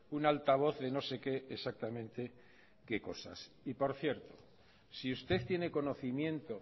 un altavoz de no sé qué exactamente qué cosas y por cierto si usted tiene conocimiento